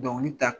Dɔnkili da